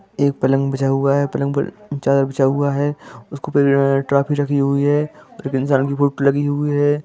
एक पलंग बिछा हुआ हे पलंग पर चादर बिछा हुआ है उसके ऊपर ट्रॉफी रखी हुई हैऔर एक इंसान की फोटो लगी हुई हैं।